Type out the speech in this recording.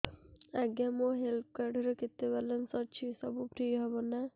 ଆଜ୍ଞା ମୋ health card ରେ କେତେ ବାଲାନ୍ସ ଅଛି ସବୁ ଫ୍ରି ହବ ନାଁ